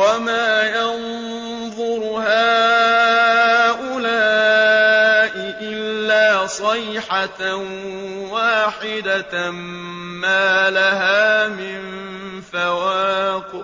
وَمَا يَنظُرُ هَٰؤُلَاءِ إِلَّا صَيْحَةً وَاحِدَةً مَّا لَهَا مِن فَوَاقٍ